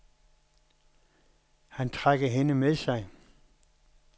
Han trækker hende med sig.